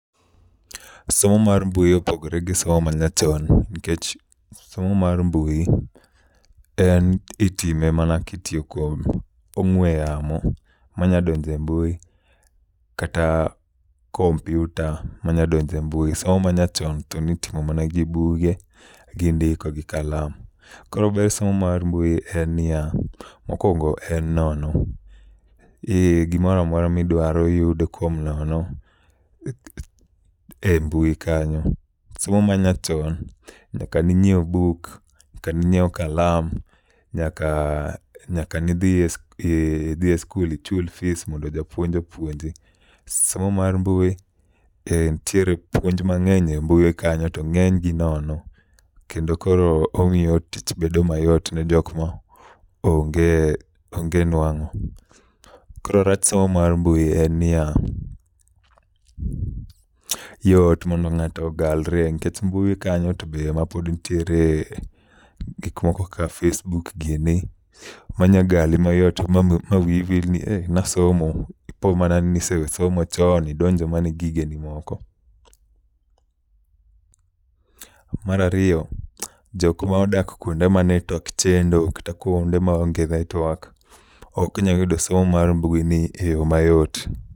Somo ma mbui opogore gi somo manyachon nikech somo ma mbui itime mana kitiyo kod ong'ue yamo manyalo donjo e mbui kata kompiuta manyalo donjo e mbui somo manyachon to ne itimo mana gi buge gi ndiko gi kalam. Koro ber somo mar mbui en niya, mokuongo en nono. Gimoro amora midwaromiyudo kuom nono e mbui kanyo. Somo ma nyachon nyaka ne inyiew buk, nyaka ne inyiew kalam, nyaka nyaka ne idhi e idhi e sikulmichul fis mondo japuonj opuonji. Somo mar mbui entiere gi puonj mang'eny e mbui kanyo to ng'enygi nono kendo koro omiyo tich bedo mayot ne jok maonge onge nuang'o. Koro rach somo mar mbui en niya, yot mondo ng'ato ogalre nikech mbui kanyo to be mapod nitiere gik moko ka facebook gieni manyalo gali mayot mawiyi wil ni eh ne asomo. Ipo mana ni iseweyo somo chon idonjo mana e gigeni moko. [pause mar ariyo, jok ma odak kuonde ma network chendo kata kuonde maonge network ok nyal yudo somo mar mbuini eyo mayot.